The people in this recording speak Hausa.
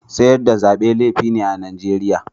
Sayar da Zabe laifi ne a'Nijeriya.